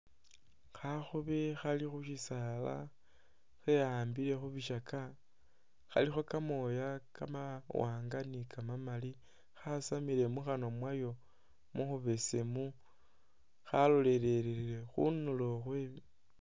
Khakhobe khali khushisala kheyambile khubishaka khalikho kamoya kamawanga ni kamamali khasamile mukhanwa mwayo mukhubesemu khalolele khunulo khwe.